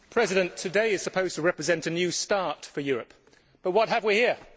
Mr President, today is supposed to represent a new start for Europe, but what have we here?